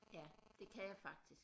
Ja det kan jeg faktisk